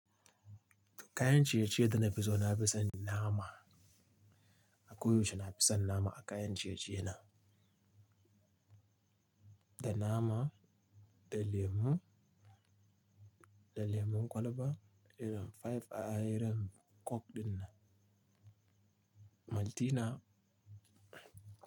Kayan ciye-ciye da na fi so na fi son nama. A koyaushe na fi son nama a kayan ciye-ciye na. Da nama, da lemon, da lemon kwalba, da five a ayarin coke ɗin na. Maltina.